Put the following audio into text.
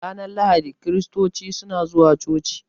Ranar lahadi kiristoci suna zuwa coci.